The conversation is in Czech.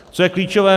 Co je klíčové -